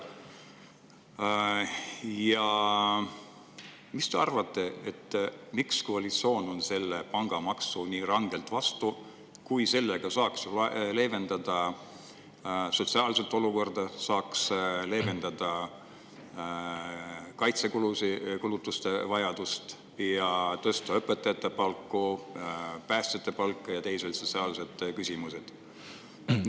Mis te arvate, miks koalitsioon on pangamaksule nii rangelt vastu, kuigi sellega saaks leevendada sotsiaalset olukorda, saaks leevendada kaitsekulutuste vajadust ja tõsta õpetajate palku ja päästjate palku ning teisi sotsiaalseid küsimusi?